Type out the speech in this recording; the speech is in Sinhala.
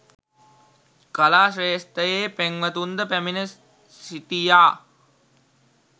කලා ක්‍රේෂ්ත්‍රයේ පෙම්වතුන්ද පැමිණ සිටියා